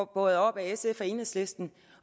båret oppe af sf og enhedslisten